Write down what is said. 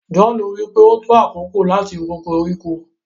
john wípé o tó àkókò lati rò koríko.